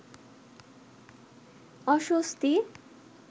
অস্বস্তি